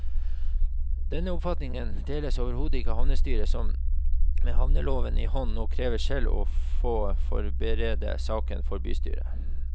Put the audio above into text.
Denne oppfatningen deles overhodet ikke av havnestyret, som med havneloven i hånd nå krever selv å få forberede saken for bystyret.